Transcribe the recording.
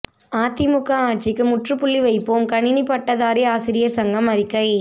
அதிமுக ஆட்சிக்கு முற்றுப்புள்ளி வைப்போம் கணினி பட்டதாரி ஆசிரியர் சங்கம் அறிக்கை